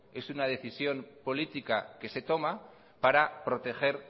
es una decisión política que se toma para proteger